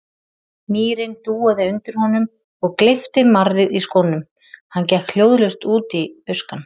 Mýrin dúaði undir honum og gleypti marrið í skónum, hann gekk hljóðlaust út í buskann.